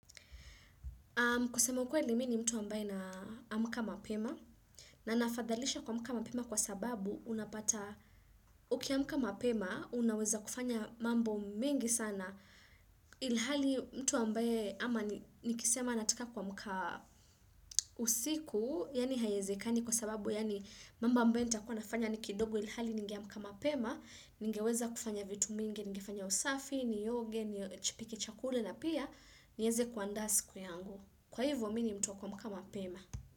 Kusema mi ni mtu ambaye naamka mapema na nafadhalisha kuamkka mapema kwa sababu unapata uki amuka mapema unaweza kufanya mambo mingi sana ilhali mtu ambaye ama nikisema nataka kuamka usiku yani hayezekani kwa sababu yani mamba ambaye nita kwa nafanya ni kidogo ilhali ningeamka mapema nigeweza kufanya vitu mingi, nigefanya usafi, nioge, nipike chakule na pia nieze kuandaa siku yangu. Kwa hivyo, mini mtuvwa kwa mkama pema.